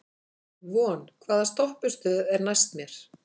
Von, hvaða stoppistöð er næst mér?